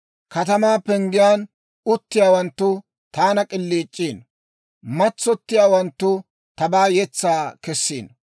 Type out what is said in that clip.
Katamaa Penggiyaan uttiyaawanttu taana k'iliic'iino; matsottiyaawanttu tabaa yetsaa kessiino.